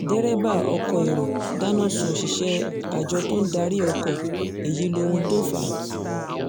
derébà ọkọ̀ èrò dáná sun òṣìṣẹ́ àjọ tó ń darí ọkọ̀ èyí lóhun tó fà á